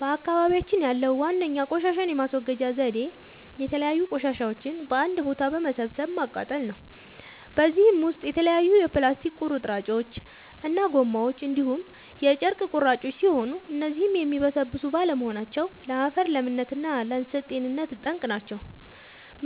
በአካባቢያችን ያለዉ ዋነኛ ቆሻሻን የማስወገጃ ዘዴ የተለያዩ ቆሻሻዎችን በአንድ ቦታ በመሰብሰብ ማቃጠል ነው። በዚህም ውስጥ የተለያዩ የፕላስቲክ ቁርጥራጮች እና ጎማዎች እንዲሁም የጨርቅ ቁራጮች ሲሆኑ እነዚህም የሚበሰብሱ ባለመሆናቸው ለአፈር ለምነት እና ለእንሳሳት ጤንነት ጠንቅ ናቸው።